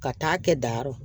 Ka taa kɛ dayɔrɔ